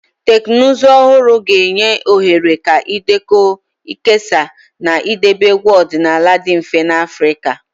Teknụzụ ọhụrụ ga-enye ohere ka ịdekọ, nkesa, na idobe egwu ọdịnala dị mfe n'Afrika.